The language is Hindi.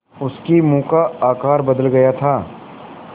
उसके मुँह का आकार बदल गया था